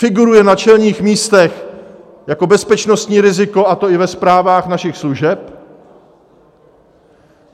Figuruje na čelných místech jako bezpečnostní riziko, a to i ve zprávách našich služeb.